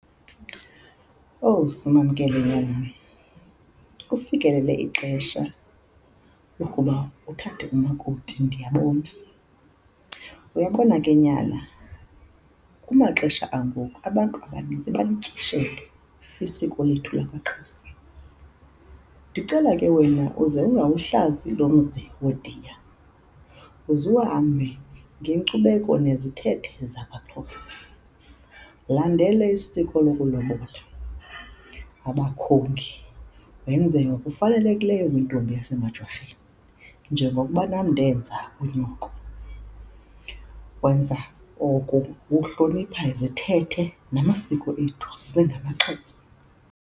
Owu, Simamkele nyanam, kufikelele ixesha lokuba uthathe umakoti ndiyabona. Uyabona ke nyana, kumaxesha angoku abantu abanintsi balityeshele isiko lethu lakwaXhosa. Ndicela ke wena uze ungawuhlazi lo mzi wooDiya, uzuhambe ngenkcubeko nezithethe zakwaXhosa. Landela isiko lokulobola abakhongi, wenze ngokufanelekileyo kwintombi yasemaJwarheni njengokuba nam ndenza kunyoko. Wenza oku ukuhlonipha izithethe namasiko ethu singamaXhosa.